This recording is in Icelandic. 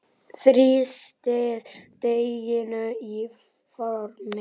Þrýstið deiginu í formið.